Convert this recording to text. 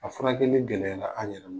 A furakɛli gɛlɛya la an yɛrɛ